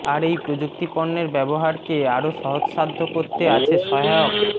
আর এই প্রযুক্তিপণ্যের ব্যবহারকে আরো সহজসাধ্য করতে আছে সহায়ক